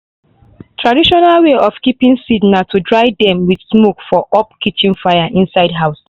traditional way of keeping seed na to dry dem with smoke for up kitchen fire inside house.